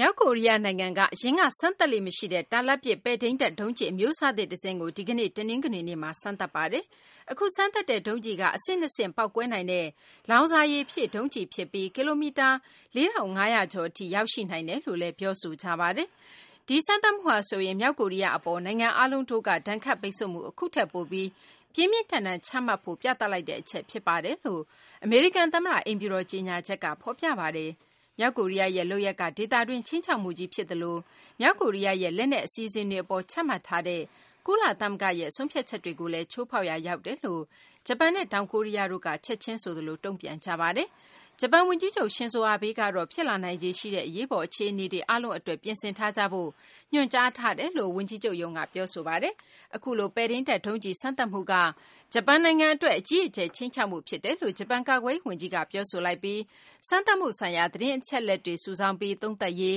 မြောက်ကိုရီးယား နိုင်ငံက အရင်က စမ်းသပ်လေ့ မရှိတဲ့ တာလတ်ပစ် ပဲ့ထိန်းတပ် ဒုံးကျည် အမျိုးအစားသစ် တစင်းကို ဒီကနေ့ တနင်္ဂနွေနေ့မှာ စမ်းသပ်ပါတယ်။ အခုစမ်းသပ်တဲ့ ဒုံးကျည်က အဆင့်၂ ဆင့် ပေါက်ကွဲနိုင်တဲ့ လောင်စာရည်ဖြည့် ဒုံးကျည်ဖြစ်ပြီး ကီလိုမီတာ ၄၅၀၀ ကျော်ထိ ရောက်ရှိနိုင်တယ်လို့လည်း ညွှန်းဆိုကြပါတယ်။ ဒီစမ်းသပ်မှုဟာဆိုရင် မြောက်ကိုရီးယား အပေါ် နိုင်ငံအားလုံးတို့က ဒဏ်ခတ်ပိတ်ဆို့မှု အခုထက်ပိုပြီး ပြင်းပြင်းထန်ထန် ချမှတ်ဖို့ ပြသလိုက်တဲ့ အချက် ဖြစ်ပါတယ်လို့ အမေရိကန် သမ္မတ အိမ်ဖြူတော် ကြေညာချက်မှာ ဖော်ပြပါတယ်။ မြောက်ကိုရီးယားရဲ့ လုပ်ရပ်က ဒေသတွင်း ခြိမ်းခြောက်မှုကြီး ဖြစ်သလို မြောက်ကိုရီးယားရဲ့ လက်နက် အစီအစဉ်တွေ အပေါ် ချမှတ်ထားတဲ့ ကုလသမဂ္ဂရဲ့ ဆုံးဖြတ်ချက်တွေကိုလည်း ချိုးဖောက်ရာ ရောက်တယ်လို့ ဂျပန်နဲ့ တောင်ကိုရီးယားတို့က ချက်ချင်းဆိုသလို တုံ့ပြန်ခဲ့ကြပါတယ်။ ဂျပန် ဝန်ကြီးချုပ် Shinzo Abe ကတော့ ဖြစ်လာနိုင်ခြေ ရှိတဲ့ အရေးပေါ် အခြေအနေအားလုံးအတွက် ပြင်ဆင်ထားကြဖို့ ညွှန်ကြားထားတယ်လို့ ဝန်ကြီးချုပ်ရုံးက ပြောဆိုထားပါတယ်။ အခုလို ပဲ့ထိန်းတပ် ဒုံးကျည် စမ်းသပ်မှုက ဂျပန် နိုင်ငံ အတွက် အကြီးအကျယ် ခြိမ်းခြောက်မှု ဖြစ်တယ်လို့ ဂျပန် ကာကွယ်ရေး ဝန်ကြီးက ပြောဆိုလိုက်ပြီး စမ်းသပ်မှု ဆိုင်ရာ သတင်းအချက်အလက်တွေ စုဆောင်းပြီး သုံးသပ်ရေး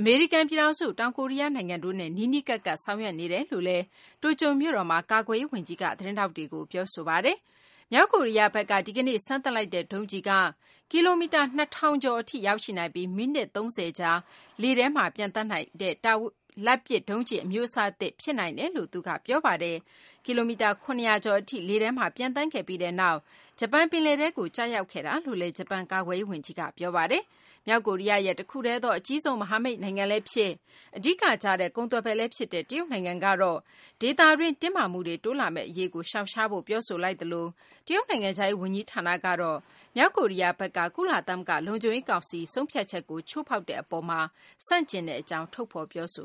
အမေရိကန် ပြည်ထောင်စု၊ တောင်ကိုရီးယား နိုင်ငံတို့နဲ့ နီးနီးကပ်ကပ် ဆောင်ရွက်နေတယ်လို့လည်း တိုကျိုမြို့တော်မှာ သတင်းထောက်တွေကို ပြောဆိုပါတယ်။ မြောက်ကိုရီးယားဘက်က ဒီကနေ့ စမ်းသပ်လိုက်တဲ့ ဒုံးကျည်က ကီလိုမီတာ ၂၀၀၀ ကျော် ရောက်ရှိနိုင်ပြီး မိနစ် ၃၀ ကြာ ပျံသန်းနိုင်တဲ့ တာလတ်ပစ် ဒုံးကျည် အမျိုးအစားသစ် ဖြစ်နိုင်တယ်လို့လည်းသူက ပြောပါတယ်။ ကီလိုမီတာ ၇၀၀ ကျော် ထိလေထဲမှာ ပျံသန်းခဲ့ပြီးနောက်မှာ ဂျပန် ပင်လယ်ထဲကို ကျရောက်ခဲ့တာလို့လည်း ဂျပန် ကာကွယ်ရေး ဝန်ကြီးက ပြောပါတယ်။ မြောက်ကိုရီးယားရဲ့ တခုတည်းသော အကြီးဆုံး မဟာမိတ်နိုင်ငံလည်းဖြစ် အဓိက ကျတဲ့ ကုန်သွယ်ဘက်လည်း ဖြစ်တဲ့ တရုတ်နိုင်ငံကတော့ ဒေသတွင်း တင်းမာမှုတွေ တိုးလာမယ့် အရေးကို ရှောင်ရှားဖို့ ပြောဆိုလိုက်သလို တရုတ် နိုင်ငံခြားရေး ဝန်ကြီးဌာနကတော့ မြောက်ကိုရီးယားဘက်က ကုလလုံခြုံရေး ကောင်စီ ဆုံးဖြတ်ချက်ကို ချိုးဖောက်မှုအပေါ်မှာ ဆန့်ကျင်ကြောင့် ထုတ်ဖော် ပြောဆို